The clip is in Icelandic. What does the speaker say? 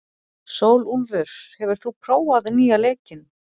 Sólúlfur, hefur þú prófað nýja leikinn?